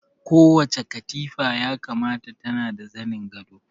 Kowace katifa ya kamata tana da zanin gado